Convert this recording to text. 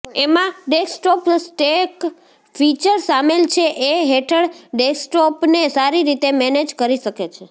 એમાં desktop stack feature સામેલ છે એ હેઠળ ડેસ્કટોપને સારી રીતે મેનેજ કરી શકે છે